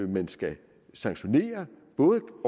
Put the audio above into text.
man skal sanktionere både